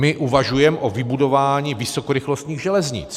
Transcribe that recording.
My uvažujeme o vybudování vysokorychlostních železnic.